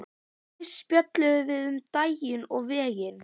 Fyrst spjölluðum við um daginn og veginn.